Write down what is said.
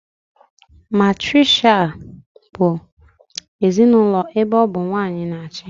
Matiriakial bụ ezinaụlọ ebe ọ bụ nwanyị na achị